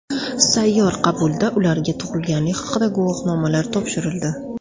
Sayyor qabulda ularga tug‘ilganlik haqida guvohnomalar topshirildi.